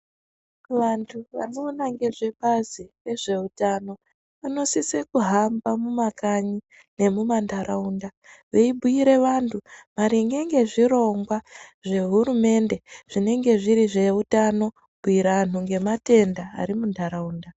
Vantu vanoona ngezvebazi rezveutano vanosise kuhamba mumakanyi nemumantaraunda. Veibhuire vantu maringe ngezvirongwa zvehurumende zvinenge zviri zveutano kubhuira antu ngematenda ari muntaraunda.